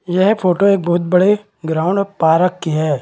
यह फोटो एक बहुत बड़े ग्राउंड पारक की है।